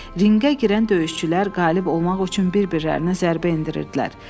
Ringə girən döyüşçülər qalib olmaq üçün bir-birlərinə zərbə endirirdilər.